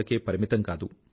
వరకే పరిమితం కాదు